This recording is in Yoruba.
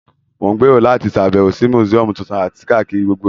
Mo n gbèrò láti sàbẹ̀wò si museum tuntun àti kakiri gbogbo ìlú